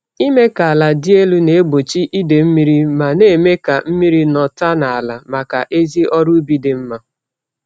Ịme ka ala dị elu na-egbochi idee-mmiri ma némè' ka mmiri nọta n'ala màkà ezi ọrụ ubi dị mma